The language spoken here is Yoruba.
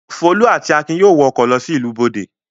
Folú àti Akin yóò wọ ọkọ̀ lọ sí ìlú Bọ̀dé.